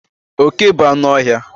Oke bu anụ ọhịa